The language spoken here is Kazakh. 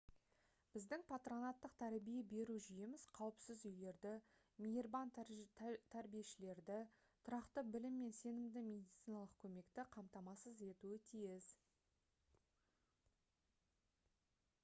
біздің патронаттық тәрбие беру жүйеміз қауіпсіз үйлерді мейірбан тәрбиешілерді тұрақты білім мен сенімді медициналық көмекті қамтамасыз етуі тиіс